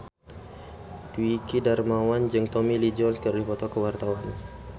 Dwiki Darmawan jeung Tommy Lee Jones keur dipoto ku wartawan